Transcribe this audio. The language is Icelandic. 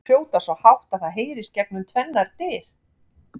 Þau hrjóta svo hátt að það heyrist gegnum tvennar dyr!